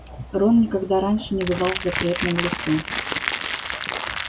рон никогда раньше не бывал в запретном лесу